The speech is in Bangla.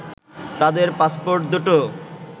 তাদের পাসপোর্ট দু’টো